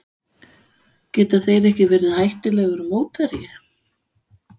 Geta þeir ekki verið hættulegur mótherji?